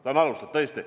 Ta on alustanud tõesti.